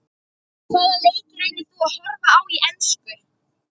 Hvaða leiki reynir þú að horfa á í enska?